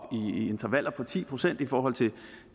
i intervaller på ti procent i forhold til